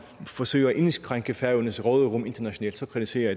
forsøger at indskrænke færøernes råderum internationalt kritiserer